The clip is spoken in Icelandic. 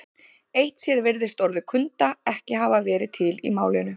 Eitt sér virðist orðið kunda ekki hafa verið til í málinu.